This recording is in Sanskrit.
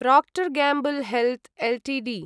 Procter Gamble Health Ltd